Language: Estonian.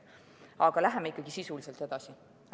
Aga läheme ikkagi sisuliselt edasi!